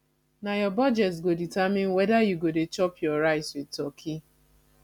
na your budget go determine whether you go dey chop your rice with turkey